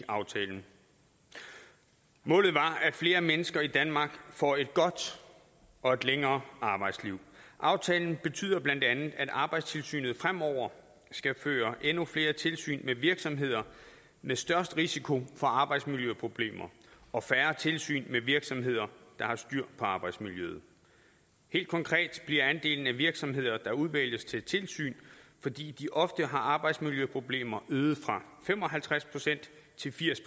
aftalen målet er at flere mennesker i danmark får et godt og et længere arbejdsliv aftalen betyder bla at arbejdstilsynet fremover skal føre endnu flere tilsyn med virksomheder med størst risiko for arbejdsmiljøproblemer og færre tilsyn med virksomheder der har styr på arbejdsmiljøet helt konkret bliver andelen af virksomheder der udvælges til tilsyn fordi de ofte har arbejdsmiljøproblemer øget fra fem og halvtreds procent til firs